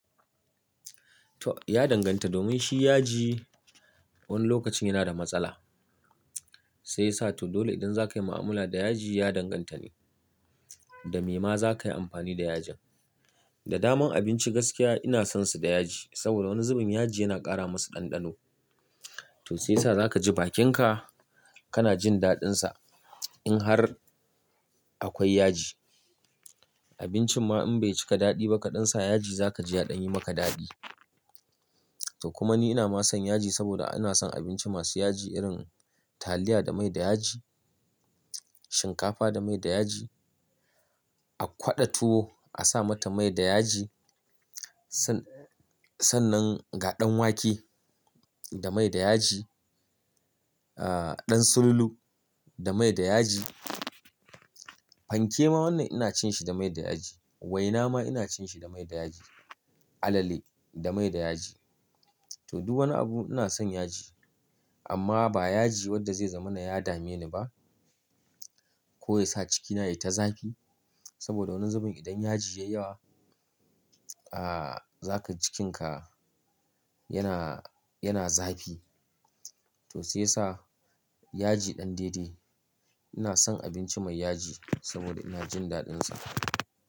To ya danganta domin shi yaji wani lokacin yana da matsala sai sa to dole idan zaka yi ma'amala da yaji ya danganta ne da me ma za ka yi amfani da yajin. Da daman abinci gaskiya ina son su da yaji saboda wani zubin yaji yana ƙara masu ɗanɗano. To sai yasa za ka ji bakinka kana jin daɗinsa in har akwai yaji. Abincin ma in bai cika daɗi ba kaɗan sa yaji za ka ji yaɗan yi maka daɗi. To kuma ni ina ma son yaji saboda ina son abinci masu yaji irin taliya da mai da yaji, shinkafa da mai da yaji, a kwada tuwo a sa mata mai da yaji, san- sannan gaɗan wake da mai da yaji, ah ɗan sululu da mai da yaji, fanke ma wannan ina cin shi da mai da yaji, waina ma ina cin shi da mai da yaji, alale da mai da yaji. To duk wani abu ina son yaji amma ba yaji wadda zai zamu na ya dame ni ba ko ya sa cikina yayi ta zafi saboda wani zubin idan yaji ya yi yawa ah zaka ji cikinka yana, yana zafi. To sai sa yaji ɗan daidai. Ina son abinci mai yaji saboda ina jin daɗinsa.